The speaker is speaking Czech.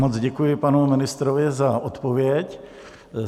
Moc děkuji panu ministrovi za odpověď.